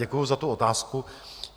Děkuji za tu otázku.